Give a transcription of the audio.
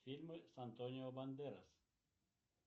фильмы с антонио бандерас